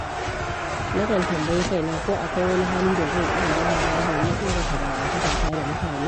Nakan tambayi kaina ko akwai wani hali da zan iya gyarawa domin inganta dangantakata da mutane.